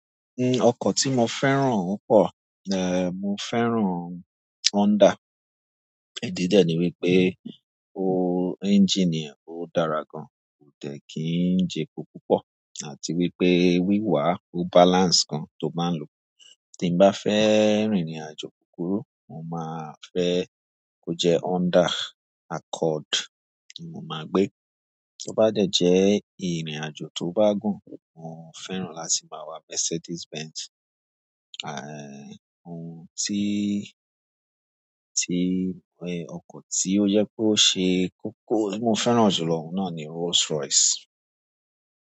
Ọkọ̀ tí mo fẹ́ràn púpọ̀, mo fẹ́ràn Honda. Ẹ̀dì dẹ́ ni wí pé o ẹ́ńjìnì e ódárà gan, kò dẹ kí n jẹ epo púpọ̀, àti wí pé wíwà ó balance gan tó báa ń lò. Tímbá fẹ́ rin ìrìn-àjò kúkurú, mo máa fẹ́ kó jẹ́ Honda Accord ni mo máa gbé. Tó bá dẹ́ ìrìn-àjò tó bá gùn, mo fẹ́ràn láti máa wà Mercedes Benz. Ohun tí, ọkọ̀ tí ó yẹ kó ṣe kókó tí mo fẹ́ràn jùlọ náà ni Rolls Royce.